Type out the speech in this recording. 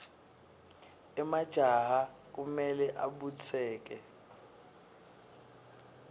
emajaha kumele abutseke